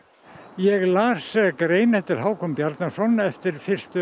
ég las grein eftir Hákon Bjarnason eftir fyrstu